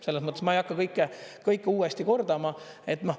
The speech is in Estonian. Selles mõttes ma ei hakka kõike uuesti kordama.